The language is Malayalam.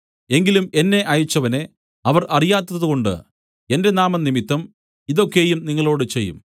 എങ്കിലും എന്നെ അയച്ചവനെ അവർ അറിയാത്തതുകൊണ്ട് എന്റെ നാമംനിമിത്തം ഇതു ഒക്കെയും നിങ്ങളോടു ചെയ്യും